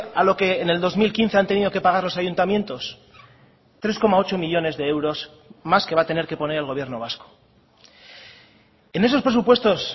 a lo que en el dos mil quince han tenido que pagar los ayuntamientos tres coma ocho millónes de euros más que va a tener que poner el gobierno vasco en esos presupuestos